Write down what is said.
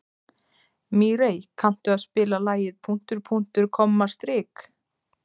Mírey, kanntu að spila lagið „Punktur, punktur, komma, strik“?